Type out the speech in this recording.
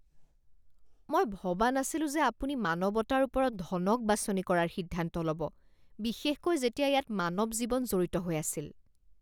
মই ভবা নাছিলো যে আপুনি মানৱতাৰ ওপৰত ধনক বাছনি কৰাৰ সিদ্ধান্ত ল'ব, বিশেষকৈ যেতিয়া ইয়াত মানৱ জীৱন জড়িত হৈ আছিল।